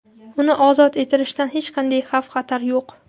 Uni ozod etilishidan hech qanday xavf xatar yo‘q.